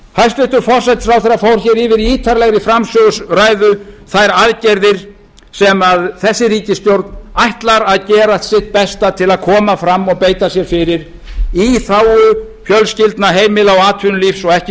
hæstvirtur forsætisráðherra fór yfir í ítarlegri framsöguræðu þær aðgerðir sem þessi ríkisstjórn ætlar að gera sitt besta til að koma fram og beita sér fyrir í þágu fjölskyldna heimila og atvinnulífs og ekki